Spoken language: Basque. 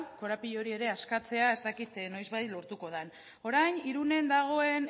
korapilo hori ere askatzea ez dakit noizbait lortuko dan orain irunen dagoen